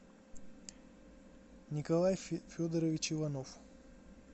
николай федорович иванов